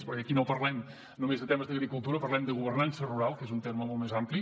perquè aquí no parlem només de temes d’agricultura parlem de governança rural que és un terme molt més ampli